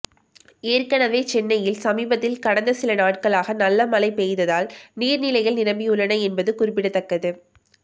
ஏற்கனவே சென்னயில் சமீபத்தில் கடந்த சில நாட்களாக நல்ல மழை பெய்ததால் நீர்நிலைகள் நிரம்பியுள்ளன என்பது குறிப்பிடத்தக்கது